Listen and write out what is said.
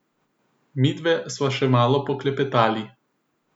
Midve sva še malo poklepetali.